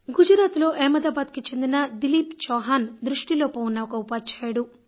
అహ్మదాబాద్ గుజరాత్ కు చెందిన దిలీప్ చౌహాన్ దృష్టిలోపం ఉన్న ఒక ఉపాధ్యాయుడు